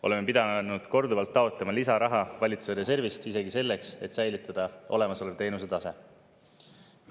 Oleme pidanud korduvalt taotlema lisaraha valitsuse reservist isegi selleks, et säilitada olemasolev teenuse tase.